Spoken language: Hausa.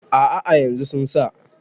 a' a yanzu sun sa